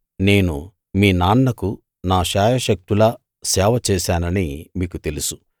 నేను మీ నాన్నకు నా శాయశక్తులా సేవ చేశానని మీకు తెలుసు